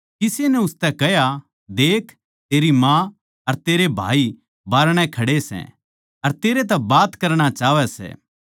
किसे नै उसतै कह्या देख तेरी माँ अर तेरे भाई बाहरणै खड़े सै अर तेरै तै बात करणा चाहवै सै